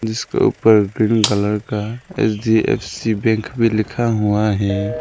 जिसके ऊपर green colour का एच_डी_एफ_सी बैंक भी लिखा हुआ है।